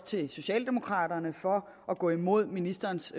til socialdemokraterne for at gå imod ministerens